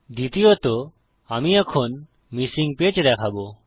দ্বিতীয়ত আমি এখন মিসিং পেজ দেখাবো